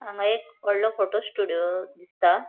हांगा एक वॉडलों फोटो स्टूडियो दिसता.